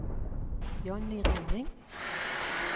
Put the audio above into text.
Jonny Rønning